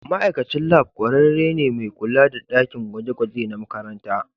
ma'aikacin lab kwararre ne mai kula da dakin gwaje-gwaje na makaranta